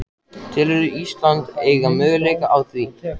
Telurðu Ísland eiga möguleika á því?